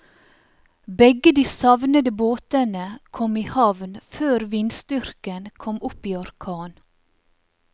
Begge de savnede båtene kom i havn før vindstyrken kom opp i orkan.